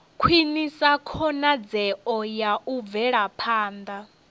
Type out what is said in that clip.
khwinisa khonadzeo ya u bvelaphanda